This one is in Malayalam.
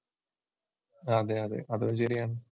അതെ അതെ അതും ശരിയാ.